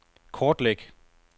kortlæg